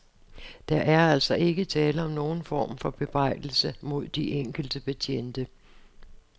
Der er altså ikke tale om nogen form for bebrejdelse mod de enkelte betjente.